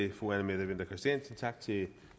vi